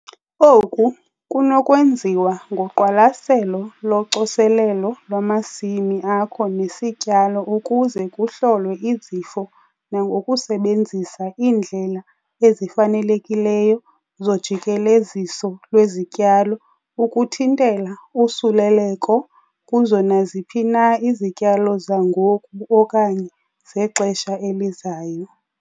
Oku kunokwenziwa ngoqwalaselo locoselelo lwamasimi akho nesityalo ukuze kuhlolwe izifo nangokusebenzisa iindlela ezifanelekileyo zojikeleziso lwezityalo ukuthintela usuleleko kuzo naziphi na izityalo zangoku okanye zexesha elizayo.